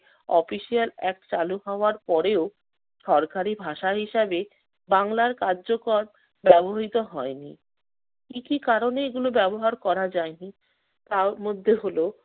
official act চালু হওয়ার পরেও সরকারি ভাষা হিসেবে বাংলার কার্যকর ব্যবহৃত হয়নি। কি কি কারণে এগুলো ব্যবহার করা যায়নি তার মধ্যে হলো